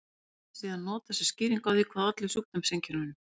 Þetta nafn er síðan notað sem skýring á því hvað olli sjúkdómseinkennunum.